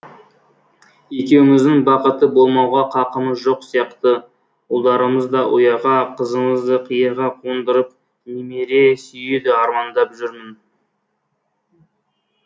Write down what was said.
екеуміздің бақытты болмауға қақымыз жоқ сияқты ұлдарымызды ұяға қызымызды қияға қондырып немере сүюді армандап жүрмін